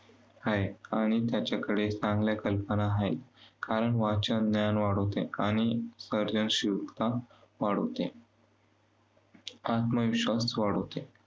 आहे. आणि त्याच्याकडे चांगल्या कल्पना आहेत. कारण वाचन ज्ञान वाढवते आणि सर्जनशीलता वाढवते. आत्मविश्वास वाढवते.